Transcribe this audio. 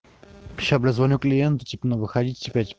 сейчас бля позвоню клиенту ну тип выходите пять